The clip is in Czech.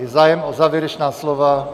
Je zájem o závěrečná slova?